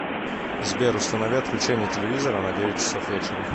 сбер установи отключение телевизора на девять часов вечера